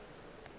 ba be ba sa tsebe